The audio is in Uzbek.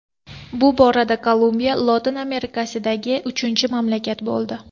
Bu borada Kolumbiya Lotin Amerikasidagi uchinchi mamlakat bo‘ldi.